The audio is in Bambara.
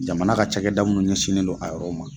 Jamana ka cakɛda munni ɲɛsinnen don a yɔrɔ ma